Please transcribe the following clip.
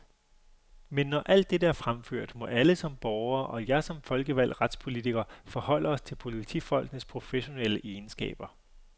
Men, når alt dette er fremført, må alle som borgere, og jeg som folkevalgt retspolitiker forholde os til politifolkenes professionelle egenskaber.